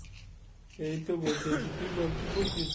এই তো বসে আছি। তুই বল কী করছিস?